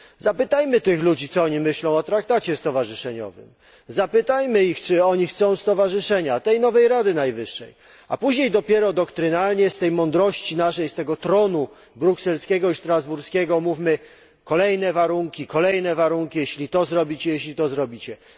Zapytajmy tych ludzi, co oni myślą o traktacie stowarzyszeniowym. Zapytajmy ich, czy oni chcą stowarzyszenia, zapytajmy tę nową Radę Najwyższą, a później dopiero doktrynalnie z tej mądrości naszej, z tego tronu brukselskiego i strasburskiego mówmy o kolejnych warunkach jeśli zrobicie to, jeśli zrobicie tamto.